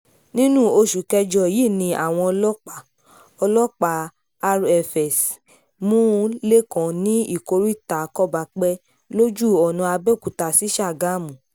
nínú oṣù kẹjọ yìí ni àwọn ọlọ́pàá ọlọ́pàá rfs mú lẹ́kàn ní ìkóríta kóbápé lójú ọ̀nà àbẹ́òkúta sí ṣàgámù